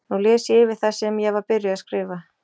Nú les ég yfir það sem ég var byrjuð að skrifa.